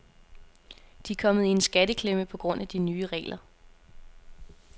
De er kommet i en skatteklemme på grund af de nye regler.